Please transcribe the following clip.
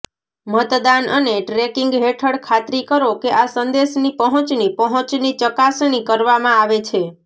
મતદાન અને ટ્રેકિંગ હેઠળ ખાતરી કરો કે આ સંદેશની પહોંચની પહોંચની ચકાસણી કરવામાં આવે છે